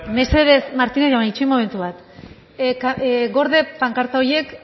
mesedez martínez jauna itxoin momentu bat gorde pankarta horiek